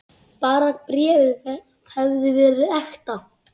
Bara bréfið hefði verið ekta!